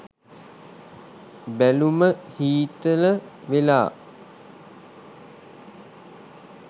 බැලුම හීතල වෙලා